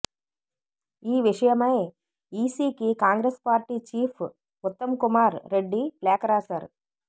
ఈ విషయమై ఈసీకి కాంగ్రెస్ పార్టీ చీఫ్ ఉత్తమ్ కుమార్ రెడ్డి లేఖ రాశారు